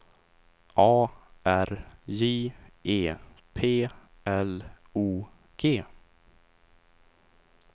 A R J E P L O G